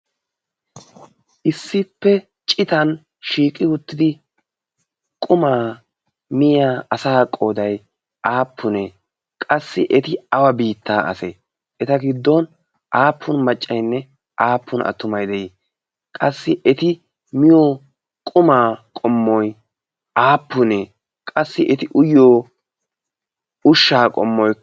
issippe citan shiiqi uttidi qumaa miya asa qodai aappunee qassi eti awa biittaa ase eta giddon aappun maccainne aappun attumai de'ii? qassi eti miyo qumaa qommoi aappunee qassi eti uyyo ushshaa qommoy